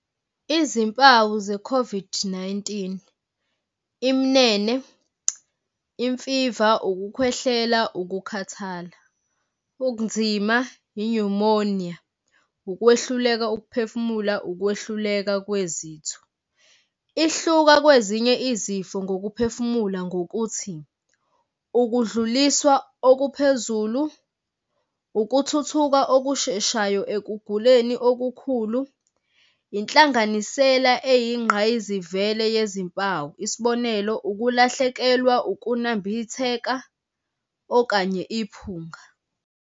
Izimpawu ze-COVID-19, iminene, imfiva, ukukhwehlela, ukukhathala, ubunzima, i-pneumonia, ukwehluleka ukuphefumula, ukwehluleka kwezitho. Ihluka kwezinye izifo ngokuphefumula ngokuthi ukudluliswa okuphezulu, ukuthuthuka okusheshayo ekuguleni okukhulu, inhlanganisela eyingqayizivele yezimpawu, isibonelo ukulahlekelwa ukunambitheka okanye iphunga.